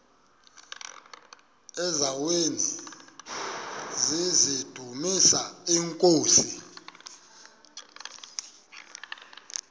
eziaweni nizidumis iinkosi